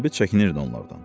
Sabit çəkinirdi onlardan.